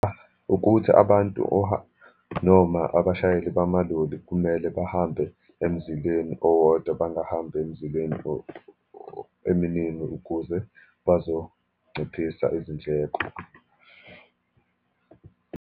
Ukuthi abantu or noma abashayeli bamaloli kumele bahambe emzileni owodwa, bangahambi emzileni eminingi ukuze bazonciphisa izindleko.